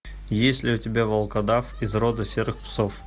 есть ли у тебя волкодав из рода серых псов